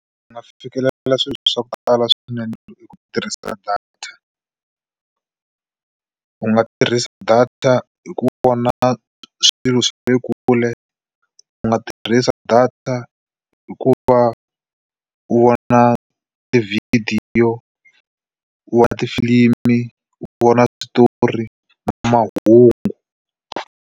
U nga fikelela swilo swo tala swinene hi ku tirhisa data u nga tirhisa data hi ku vona swilo swa le kule u nga tirhisa data hi ku va u vona tivhidiyo u vona tifilimi u vona switori na mahungu.